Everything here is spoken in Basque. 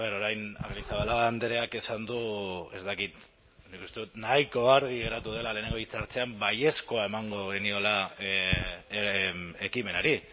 bueno orain arrizabalaga andreak esan du ez dakit nik uste dut nahiko argi geratu dela lehenengo esku hartzean baiezkoa emango geniola ekimenari